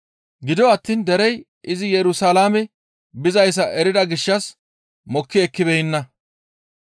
Gido attiin derey izi Yerusalaame bizayssa erida gishshas mokki ekkibeenna.